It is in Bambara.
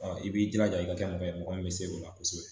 i b'i jilaja i ka kɛ mɔgɔ ye mɔgɔ min bɛ se o la kosɛbɛ